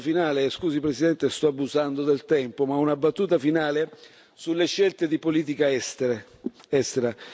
Una battuta finale scusi Presidente se sto abusando del tempo ma una battuta finale sulle scelte di politica estera.